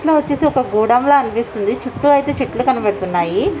Last లో వాచసి ఒక గోడౌన్ అనిపిస్తోంది చుట్టు ఐతే చెట్లు కనిపిస్తూయూనెయి.